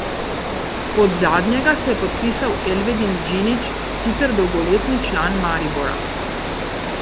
Pod zadnjega se je podpisal Elvedin Džinić, sicer dolgoletni član Maribora.